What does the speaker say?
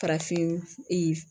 Farafin